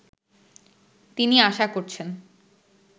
তিনি আশা করছেন